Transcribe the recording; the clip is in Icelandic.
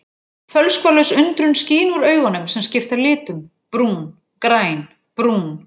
Fölskvalaus undrun skín úr augunum sem skipta litum: brún, græn, brún.